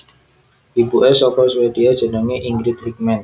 Ibuke saka Swedia jenenge Ingrid Wickman